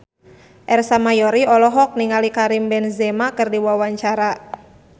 Ersa Mayori olohok ningali Karim Benzema keur diwawancara